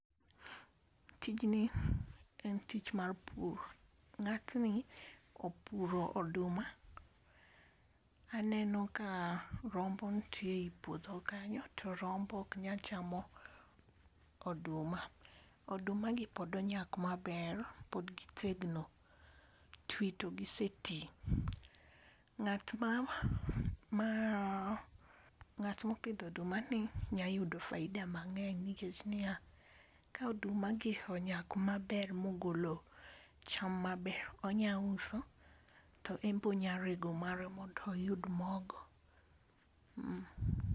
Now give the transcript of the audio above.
Tijni en tich mar pur, ng'atni opuro oduma. Aneno ka rombo ntie ei puodho kanyo to rombo ok nyachamo oduma. Oduma gi pod onyak maber, pod gitegno, twi togiseti. Ng'at mopidhodumani nyayudo faida mang'eny nikech niya, ka odumagi onyak maber mogolo cham maber, onyauso to embonyarego mare mondoyud mogo. Emh.